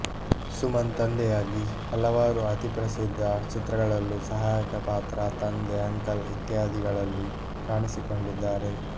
ಸುಮನ್ ತಂದೆಯಾಗಿ ಹಲವಾರು ಅತಿ ಪ್ರಸಿದ್ಧ ಚಿತ್ರಗಳಲ್ಲೂ ಸಹಾಯಕ ಪಾತ್ರ ತಂದೆ ಅಂಕಲ್ ಇತ್ಯಾದಿಗಳಲ್ಲಿ ಕಾಣಿಸಿಕೊಂಡಿದ್ದಾರೆ